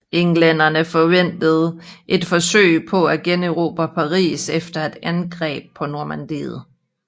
Englænderne forventede et forsøg på at generobre Paris eller et angreb på Normandiet